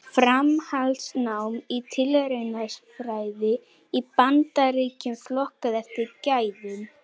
Framhaldsnám í tilraunasálfræði í Bandaríkjunum, flokkað eftir gæðum.